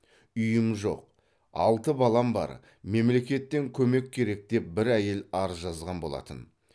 үйім жоқ алты балам бар мемлекеттен көмек керек деп бір әйел арыз жазған болатын